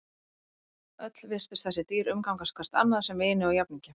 Öll virtust þessi dýr umgangast hvert annað sem vini og jafningja.